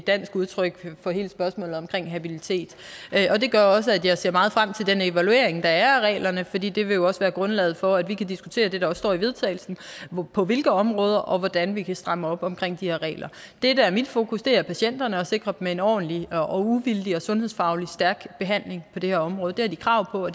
dansk udtryk for hele spørgsmålet om habilitet det gør også at jeg ser meget frem til den evaluering der er af reglerne fordi det jo også vil være grundlaget for at vi kan diskutere det der står i vedtagelse og på hvilke områder og hvordan vi kan stramme op om de her regler det der er mit fokus er patienterne og at sikre dem en ordentlig og uvildig og sundhedsfagligt stærk behandling på det her område det har de krav på